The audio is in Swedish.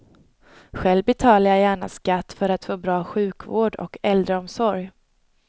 Själv betalar jag gärna skatt för att få bra sjukvård och äldreomsorg.